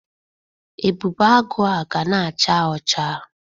Ebube Agụ a ga na-acha ọcha.